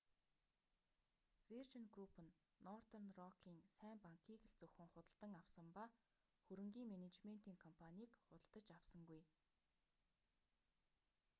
виржин групп нь нортерн рокын сайн банк'-ийг л зөвхөн худалдан авсан ба хөрөнгийн менежментийн компанийг худалдаж авсангүй